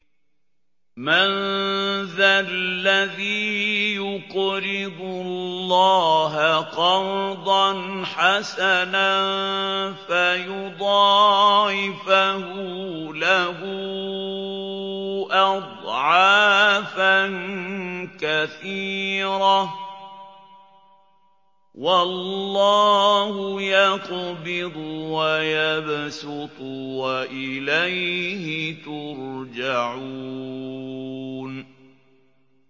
مَّن ذَا الَّذِي يُقْرِضُ اللَّهَ قَرْضًا حَسَنًا فَيُضَاعِفَهُ لَهُ أَضْعَافًا كَثِيرَةً ۚ وَاللَّهُ يَقْبِضُ وَيَبْسُطُ وَإِلَيْهِ تُرْجَعُونَ